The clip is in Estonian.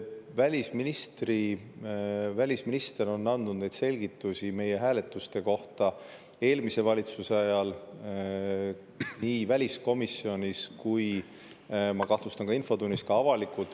Esiteks, välisminister on andnud selgitusi meie hääletuste kohta eelmise valitsuse ajal nii väliskomisjonis kui ka, ma kahtlustan, infotunnis avalikult.